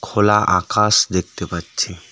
খোলা আকাশ দেখতে পাচ্ছি .